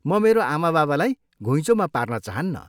म मेरो आमाबाबालाई घुइँचोमा पार्न चाहन्नँ।